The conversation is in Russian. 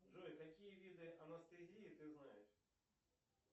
джой какие виды анестезии ты знаешь